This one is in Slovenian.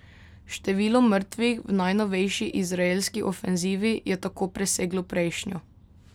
Število mrtvih v najnovejši izraelski ofenzivi je tako preseglo prejšnjo.